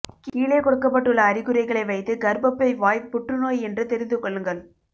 கீழே கொடுக்கப்பட்டுள்ள அறிகுறிகளை வைத்து கர்ப்பப்பை வாய் புற்றுநோய் என்று தெரிந்துகொள்ளுங்கள்